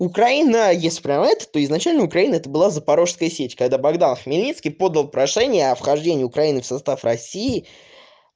украина исправят эту изначально украина это была запорожская сечь когда богдан хмельницкий подал прошение о вхождении украины в состав россии